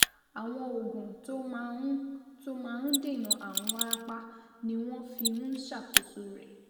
Àwọn oògùn tó máa ń tó máa ń dènà ààrùn wárápá ni wọ́n fi ń ṣàkóso rẹ̀